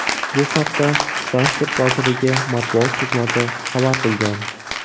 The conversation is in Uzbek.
Bu haqda Transport vazirligi matbuot xizmati xabar qilgan .